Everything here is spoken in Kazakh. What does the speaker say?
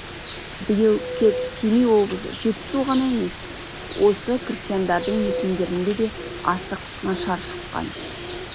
биыл тек семей облысы жетісу ғана емес осы крестьяндардың мекендерінде де астық нашар шыққан